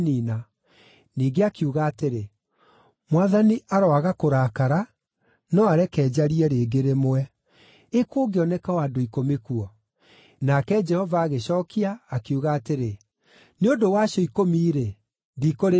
Ningĩ akiuga atĩrĩ, “Mwathani aroaga kũrakara no areke njarie rĩngĩ rĩmwe. Ĩ kũngĩoneka o andũ ikũmi kuo?” Nake Jehova agĩcookia, akiuga atĩrĩ, “Nĩ ũndũ wa acio ikũmi-rĩ, ndikũrĩniina.”